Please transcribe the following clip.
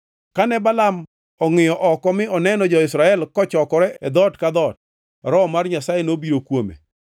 Kane Balaam ongʼiyo oko mi oneno jo-Israel kochokore e dhoot ka dhoot, Roho mar Nyasaye nobiro kuome